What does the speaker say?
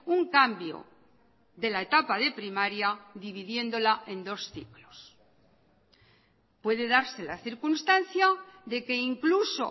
un cambio de la etapa de primaria dividiéndola en dos ciclos puede darse la circunstancia de que incluso